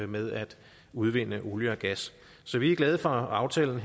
med at udvinde olie og gas så vi er glade for aftalen